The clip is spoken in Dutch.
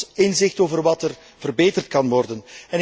Het geeft ons inzicht in wat er verbeterd kan worden.